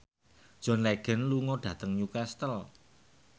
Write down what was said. John Legend lunga dhateng Newcastle